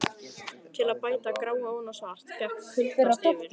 Til að bæta gráu ofan á svart gekk kuldakast yfir.